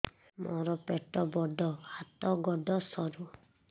ମୋର ପେଟ ବଡ ହାତ ଗୋଡ ସରୁ